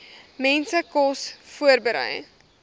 mense kos voorberei